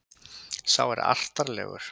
Sá er artarlegur.